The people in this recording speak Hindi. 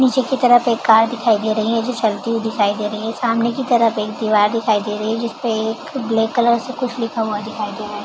नीचे की तरफ एक कार दिखाई दे रही है जो चलती हुई दिखाई दे रही है सामने की तरफ एक दीवार दिखाई दे रही है जिसपे एक ब्लैक कलर से कुछ लिखा हुआ दिखाई दे रहा है ।